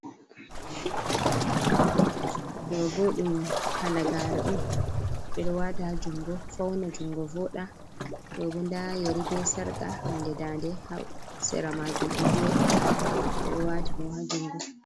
Ɗo bo ɗum halagare on. Ɓeɗo wata ha jungo fauna jungo voɗa. Ɗo bo nda yeri be sarka, be hunde dande ha sera majun, ɗo joɗi ɓeɗo wati ɗum ha jungo.